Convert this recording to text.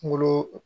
Kungolo